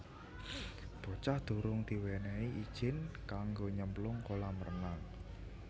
Bocah durung diwenehi ijin kanggo nyemplung kolam renang